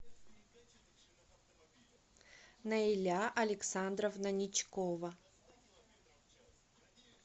наиля александровна ничкова